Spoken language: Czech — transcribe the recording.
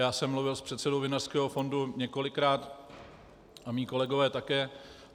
Já jsem mluvil s předsedou Vinařského fondu několikrát a mí kolegové také.